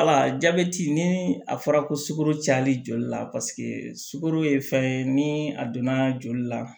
Wala jabɛti ni a fɔra ko sukaro cayali joli la paseke sukaro ye fɛn ye ni a donna joli la